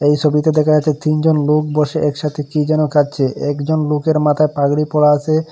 এ ছবিতে দেখা যাচ্ছে তিনজন লোক বসে একসাথে কি যেন খাচ্ছে একজন লোকের মাথায় পাগড়ি পরা আসে।